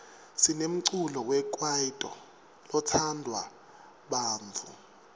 sinemculo wekwaito lotsandwa bantfu